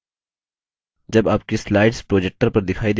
जब आपकी slides projector पर दिखाई देती हैं